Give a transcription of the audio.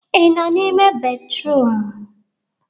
Ị nọ n'ime béfrụm?